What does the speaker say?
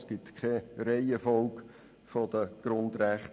Es gibt keine Reihenfolge der Grundrechte.